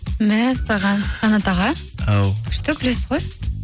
мәссаған қанат аға ау күшті күлесіз ғой